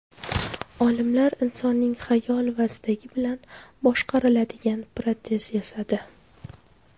Olimlar insonning xayol va istagi bilan boshqariladigan protez yasadi.